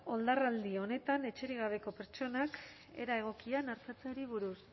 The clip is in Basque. oldarraldi honetan etxerik gabeko pertsonak era egokian artatzeari buruz